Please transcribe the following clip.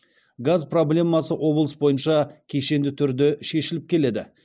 газ проблемасы облыс бойынша кешенді түрде шешіліп келеді